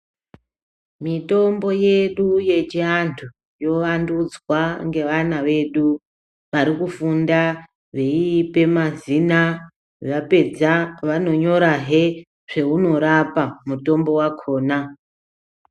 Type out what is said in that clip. Mitombo yedu yechiantu yovantudzwa ngevana vedu varikufunda veiipe mazina vapedza vanonyorahe zveinorapa mutombo wakhona.